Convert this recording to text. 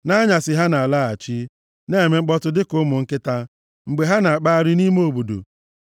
Nʼanyasị ha na-alaghachi; na-eme mkpọtụ dịka ụmụ nkịta, mgbe ha na-akpagharị nʼime obodo.